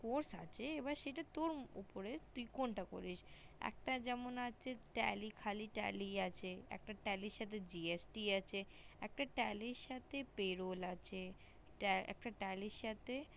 coach আছে এবার সেটা তোর উপরে তুই কোনটা করবি একটা যেমন আছে tally খালি tally আছে একটা tally র সাথে GST আছে একটা tally র সাথে payroll আছে একটা tally র সাথে